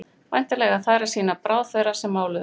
væntanlega eiga þær að sýna bráð þeirra sem máluðu